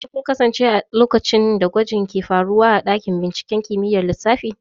Shin kun kasance a lokacin da gwajin ke faruwa a dakin binciken kimiyyar lissafi?